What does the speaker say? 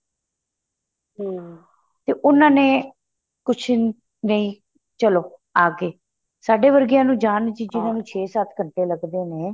ਹਮ ਤੇ ਉਹਨਾ ਨੇ ਕੁੱਛ ਨਹੀਂ ਚਲੋਂ ਆ ਗਏ ਸਾਡੇ ਵਰਗਿਆ ਨੂੰ ਜਾਣ ਚ ਜਿੰਨਾ ਨੂੰ ਛੇ ਸੱਤ ਘੰਟੇ ਲੱਗਦੇ ਨੇ